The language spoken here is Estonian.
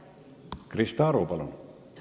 Krista Aru, palun!